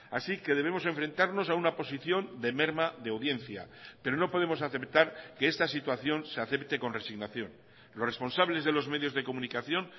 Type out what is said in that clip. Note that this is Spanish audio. así que debemos enfrentarnos a una posición de merma de audiencia pero no podemos aceptar que esta situación se acepte con resignación los responsables de los medios de comunicación